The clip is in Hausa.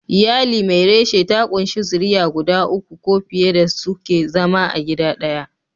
Iyali mai reshe ta kunshi zuriya guda uku ko fiye da suke zama a gida daya.